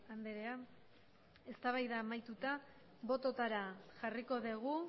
andrea eztabaida amaituta bototara jarriko dugu